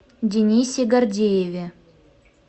денисе гордееве